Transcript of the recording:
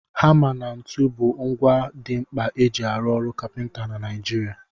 Hama na ntu bụ ngwa dị mkpa eji arụ ọrụ kapịnta na Naịjirịa.